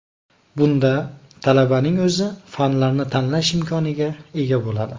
Bunda talabalarning o‘zi fanlarni tanlash imkoniga ega bo‘ladi.